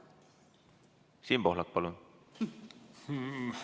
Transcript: Siim Pohlak, palun!